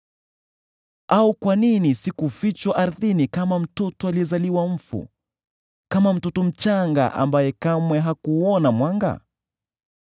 Au kwa nini sikufichwa ardhini kama mtoto aliyezaliwa mfu, kama mtoto mchanga ambaye kamwe hakuuona mwanga?